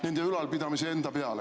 ... nende ülalpidamise enda peale.